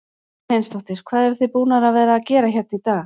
Erla Hlynsdóttir: Hvað eruð þið búnar að vera að gera hérna í dag?